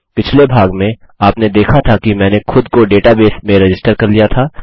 पिछले भाग में आपने देखा था कि मैंने खुद को डेटाबेस में रजिस्टर कर लिया था